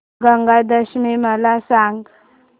गंगा दशमी मला सांग